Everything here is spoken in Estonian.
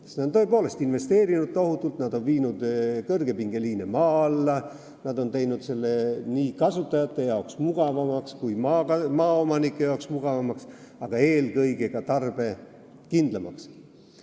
Nad on tõepoolest tohutult investeerinud, nad on viinud kõrgepingeliine maa alla, nad on teinud selle mugavamaks nii kasutajate kui ka maaomanike jaoks, aga eelkõige tarbijakindlamaks.